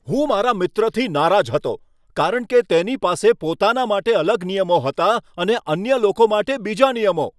હું મારા મિત્રથી નારાજ હતો કારણ કે તેની પાસે પોતાના માટે અલગ નિયમો હતા અને અન્ય લોકો માટે બીજા નિયમો.